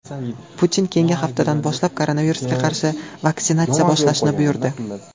Putin keyingi haftadan boshlab koronavirusga qarshi vaksinatsiya boshlashni buyurdi.